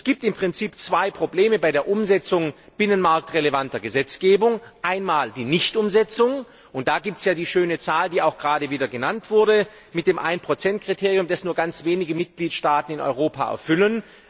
Es gibt im Prinzip zwei Probleme bei der Umsetzung binnenmarktrelevanter Gesetzgebung einmal die Nichtumsetzung und da gibt es ja die schöne Zahl, die auch gerade wieder genannt wurde, mit dem Ein Prozent Kriterium, das nur ganz wenige Mitgliedstaaten in Europa erfüllen.